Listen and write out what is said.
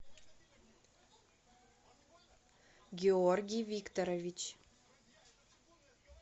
георгий викторович